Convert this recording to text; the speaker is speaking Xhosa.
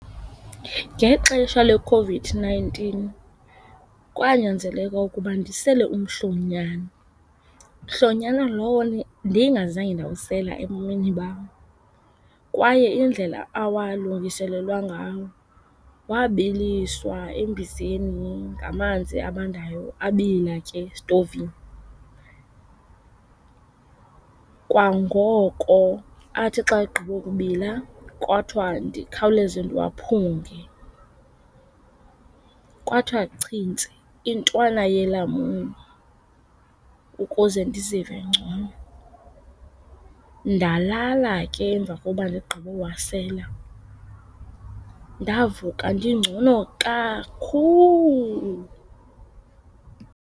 Ngexesha leCOVID-nineteen kwanyanzeleka ukuba ndisele umhlonyana, mhlonyana lowo ndingazange ndawusela ebomini bam. Kwaye indlela awalungiselelwa ngawo wabiliswa embizeni ngamanzi abandayo, abila ke esitovini. Kwangoko athi xa egqibokubila kwathiwa ndikhawuleze ndiwaphunge. Kwathiwa chintsi intwana yelamuni ukuze ndizive ngcono. Ndalala ke emva koba ndigqibowasela. Ndavuka ndingcono kakhulu.